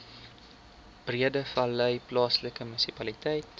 breedevallei plaaslike munisipaliteit